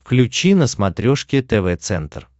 включи на смотрешке тв центр